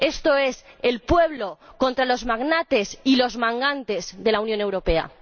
esto es el pueblo contra los magnates y los mangantes de la Unión Europea.